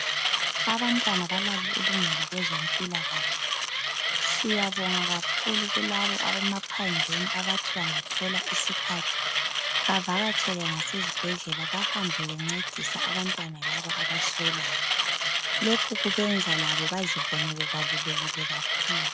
Abantwana balalo ilungelo kwezompilakahle. Siyabonga kakhulu kulabo abemaphandleni abathi bengathola isikhathi bavakatshele ngasezibhedlela bahambe bencedisa abantwana laba abaswelayo. Lokhu kubenza labo bazibone bebalulekile kakhulu.